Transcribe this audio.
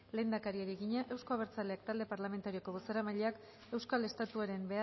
lehendakariari egina euzko abertzaleak talde parlamentarioko bozeramaileak euskal estatuaren